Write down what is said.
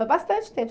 Bastante tempo.